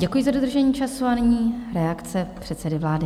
Děkuji za dodržení času a nyní reakce předsedy vlády.